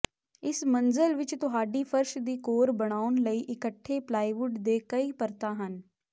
ਇਸ ਮੰਜ਼ਲ ਵਿੱਚ ਤੁਹਾਡੀ ਫਰਸ਼ ਦੀ ਕੋਰ ਬਣਾਉਣ ਲਈ ਇੱਕਠੇ ਪਲਾਈਵੁੱਡ ਦੇ ਕਈ ਪਰਤਾਂ ਹਨ